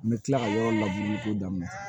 N bɛ tila ka yɔrɔ labure k'o daminɛ